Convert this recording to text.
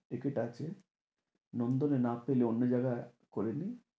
Ticket আছে নন্দনে না পেলে অন্য জায়গায় করে নে।